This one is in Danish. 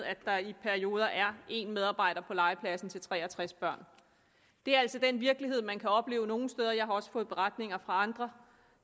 at der i perioder er en medarbejder på legepladsen til tre og tres børn det er altså den virkelighed man kan opleve nogle steder jeg har også fået beretninger fra andre